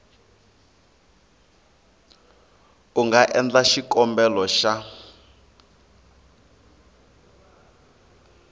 u nga endla xikombelo xa